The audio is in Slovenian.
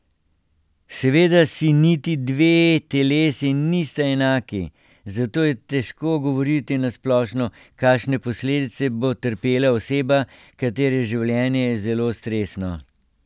Seveda si niti dve telesi nista enaki, zato je težko govoriti na splošno, kakšne posledice bo trpela oseba, katere življenje je zelo stresno.